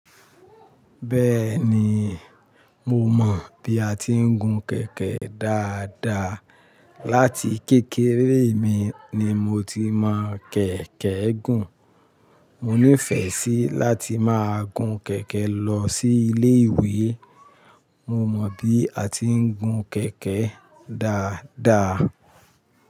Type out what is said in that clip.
Bẹ́ẹ̀ni, mo mọ bí a ti ń gun kẹ̀kẹ́ dáadáa. Látí kékeré mi ni mo ti mọ kẹ̀kẹ́ gùn. Mò nífẹ́ sí láti máa gun kẹ̀kẹ́ lọ sí ilé ìwé. Mo mọ bí a ti ń gun kẹ̀kẹ́ dáadáa.